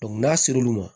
n'a ser'olu ma